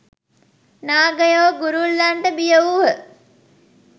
නාගයෝ ගුරුල්ලන්ට බිය වූහ.